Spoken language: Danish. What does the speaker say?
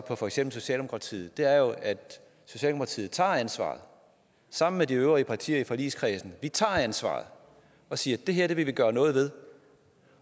og for eksempel socialdemokratiet er jo at socialdemokratiet tager et ansvar sammen med de øvrige partier i forligskredsen vi tager et ansvar og siger at det her vil vi gøre noget ved